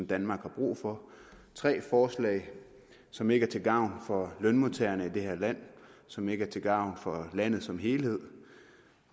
danmark har brug for tre forslag som ikke er til gavn for lønmodtagerne i det her land og som ikke er til gavn for landet som helhed